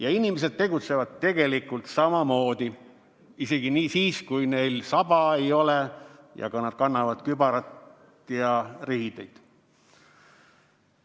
Ja inimesed tegutsevad tegelikult samamoodi, isegi siis, kui neil saba ei ole ja nad kannavad kübarat ja riideid.